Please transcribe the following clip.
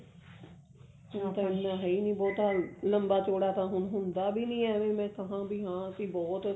ਹੁਣ ਤਾਂ ਇੰਨਾ ਹੈ ਈ ਨੀ ਬਹੁਤਾ ਲੰਬਾ ਚੋੜਾ ਤਾਂ ਹੁਣ ਹੁੰਦਾ ਵੀ ਨੀ ਇਵੇਂ ਈ ਕਹਾਂ ਵੀ ਹਾਂ ਅਸੀਂ ਬਹੁਤ